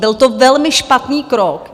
Byl to velmi špatný krok.